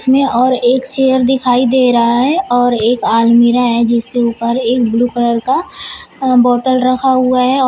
में और एक चेयर दिखाई दे रहा है और एक अलमीरा है जिसके ऊपर एक ब्लू कलर का बोतल रखा हुआ है और--